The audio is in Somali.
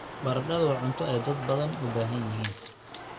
Baradhadu waa cunto ay dad badan u yihiin.